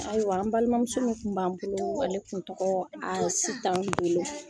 Ayiwa, an balimamuso tun b'an bolo, ale tun tɔgɔ ye Asitan Dolo.